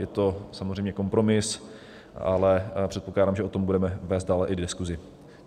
Je to samozřejmě kompromis, ale předpokládám, že o tom budeme vést dále i diskuzi.